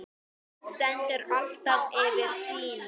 Hún stendur alltaf fyrir sínu.